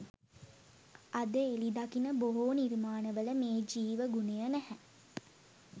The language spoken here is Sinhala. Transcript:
අද එළි දකින බොහෝ නිර්මාණවල මේ ජීව ගුණය නැහැ